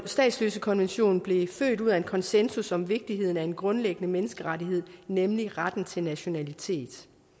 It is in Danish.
statsløsekonventionen blev født ud af en konsensus om vigtigheden af en grundlæggende menneskerettighed nemlig retten til nationalitet